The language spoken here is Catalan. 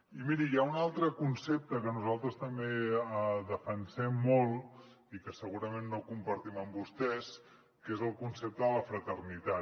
i miri hi ha un altre concepte que nosaltres també defensem molt i que segurament no compartim amb vostès que és el concepte de la fraternitat